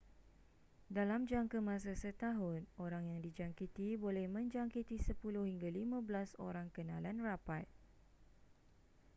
dalam jangka masa setahun orang yang dijangkiti boleh menjangkiti 10 hingga 15 orang kenalan rapat